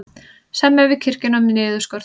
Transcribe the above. Semja við kirkjuna um niðurskurð